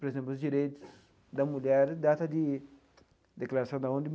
Por exemplo, os direitos da mulher, data de declaração da ONU.